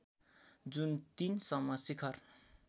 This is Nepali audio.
जुन ३ सम्म शिखर